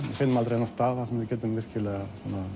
finnum aldrei þennan stað þar sem við getum virkilega